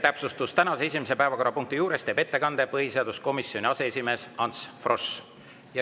Täpsustus: tänase esimese päevakorrapunkti arutelul teeb ettekande põhiseaduskomisjoni aseesimees Ants Frosch.